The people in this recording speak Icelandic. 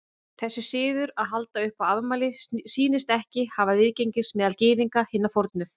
Þessi siður að halda upp á afmæli sýnist ekki hafa viðgengist meðal Gyðinga hinna fornu.